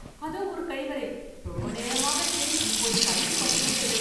அதோ ஒரு கழிவறை! ரொம்ப நேரமாகத் தேடி இப்போது கண்ணில் பட்டுவிட்டது!